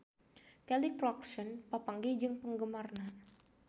Kelly Clarkson papanggih jeung penggemarna